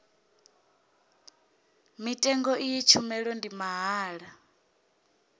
mutengo iyi tshumelo ndi mahala